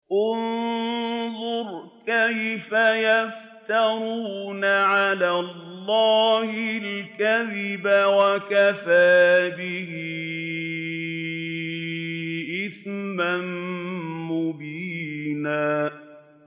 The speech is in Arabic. انظُرْ كَيْفَ يَفْتَرُونَ عَلَى اللَّهِ الْكَذِبَ ۖ وَكَفَىٰ بِهِ إِثْمًا مُّبِينًا